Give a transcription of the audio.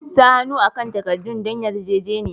Sa hannu akan takaddun don yarjejeniya.